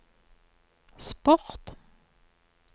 sport